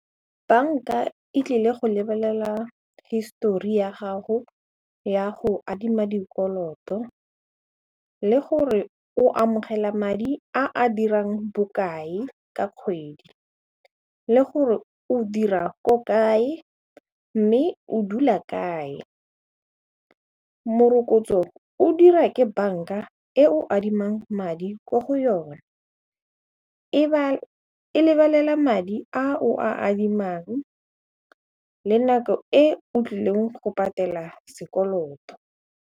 Banka e tlile go lebelela histori ya gago ya go adima dikoloto le gore o amogela madi a a dirang bokae ka kgwedi le gore o dira ko kae mme o dula kae, morokotso o dira ke banka e o adimang madi mo go yona e lebelela madi a o a adimang le nako e o tlileng go patela sekoloto.